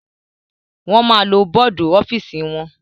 Wọ́n máa lo bọ́dù ọ́fìsì wọn.